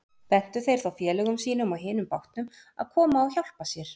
Bentu þeir þá félögum sínum á hinum bátnum að koma og hjálpa sér.